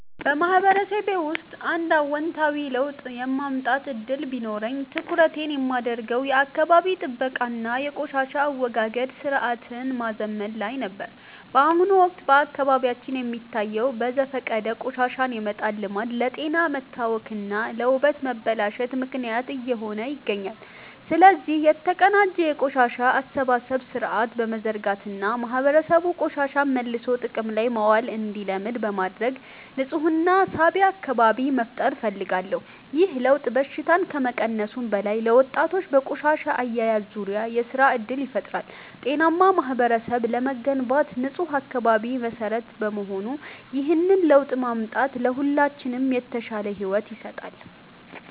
በማህበረሰቤ ውስጥ አንድ አዎንታዊ ለውጥ የማምጣት ዕድል ቢኖረኝ፣ ትኩረቴን የማደርገው የአካባቢ ጥበቃ እና የቆሻሻ አወጋገድ ሥርዓትን ማዘመን ላይ ነበር። በአሁኑ ወቅት በአካባቢያችን የሚታየው በዘፈቀደ ቆሻሻ የመጣል ልማድ ለጤና መታወክ እና ለውበት መበላሸት ምክንያት እየሆነ ይገኛል። ስለዚህ፣ የተቀናጀ የቆሻሻ አሰባሰብ ሥርዓት በመዘርጋት እና ማህበረሰቡ ቆሻሻን መልሶ ጥቅም ላይ ማዋል እንዲለምድ በማድረግ ንፁህና ሳቢ አካባቢ መፍጠር እፈልጋለሁ። ይህ ለውጥ በሽታን ከመቀነሱም በላይ፣ ለወጣቶች በቆሻሻ አያያዝ ዙሪያ የሥራ ዕድል ይፈጥራል። ጤናማ ማህበረሰብ ለመገንባት ንፁህ አካባቢ መሠረት በመሆኑ፣ ይህንን ለውጥ ማምጣት ለሁላችንም የተሻለ ሕይወት ይሰጣል።